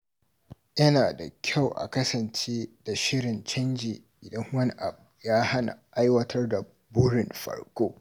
Yana da kyau a kasance da shirin canji idan wani abu ya hana aiwatar da burin farko.